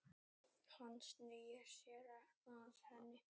Hann snýr sér að henni.